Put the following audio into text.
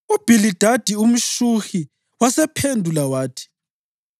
UBhilidadi umShuhi wasephendula wathi: